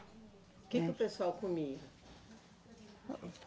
O que que o pessoal comia?